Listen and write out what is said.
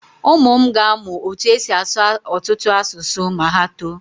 Ụmụ m ga-amụ otú e si asụ ọtụtụ asụsụ ma ha too.